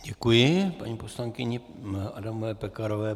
Děkuji paní poslankyni Adamové Pekarové.